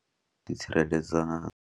I ḓitsireledza.